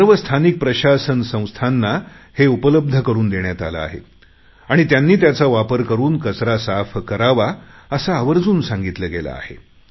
सर्व स्थानिक प्रशासन संस्थांना हे उपलब्ध करुन देण्यात आले आहे आणि त्यांनी त्याचा वापर करुन कचरा साफ करावा असे आवर्जून सांगितले गेले आहे